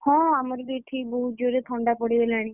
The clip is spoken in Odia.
ହଁ ଆମର ବି ଏଠି ବହୁତ ଜୋରେ ଥଣ୍ଡା ପଡ଼ିଗଲାଣି।